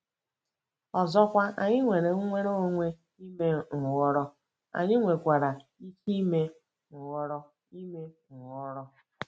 Ọzọkwa, anyị nwere nnwere onwe ime nhọrọ, anyị nwekwara ike ime nhọrọ ime nhọrọ.